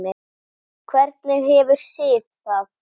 Hvernig hefur Sif það?